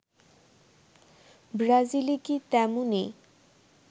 ব্রাজিলে কি তেমনই